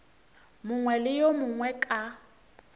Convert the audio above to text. mongwe le yo mongwe ka